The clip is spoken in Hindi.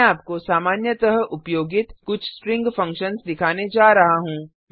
मैं आपको सामान्यतः उपयोगित कुछ स्ट्रिंग फंक्शन्स दिखाने जा रहा हूँ